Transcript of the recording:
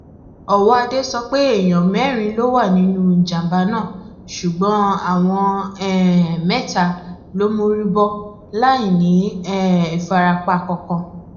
ọwọadé sọ pé èèyàn mẹrin ló wà nínú ìjàmbá náà ṣùgbọn àwọn um mẹta ló mórí bọ láì ní um ìfarapa kankan